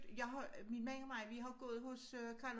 Jeg har min mand og mig vi har gået hos øh Carl